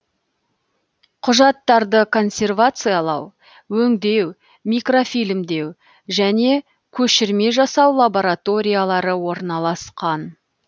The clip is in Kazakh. құжаттарды консервациялау өңдеу микрофильмдеу және көшірме жасау лабораториялары орналасқан